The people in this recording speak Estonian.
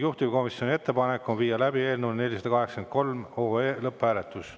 Juhtivkomisjoni ettepanek on viia läbi eelnõu 483 lõpphääletus.